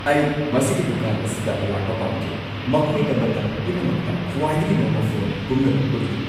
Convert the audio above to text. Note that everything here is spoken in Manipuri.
ꯑꯩ ꯃꯁꯤꯒꯤ ꯗꯨꯀꯥꯟ ꯑꯁꯤꯗ ꯂꯥꯛꯄ ꯄꯥꯝꯖꯩ꯫ ꯃꯈꯣꯏꯗ ꯃꯇꯝ ꯄꯨꯝꯅꯃꯛꯇ ꯈ꯭ꯋꯥꯏꯗꯒꯤ ꯅꯧꯕ ꯐꯣꯟ ꯄꯨꯝꯅꯃꯛ ꯎꯠꯂꯤ꯫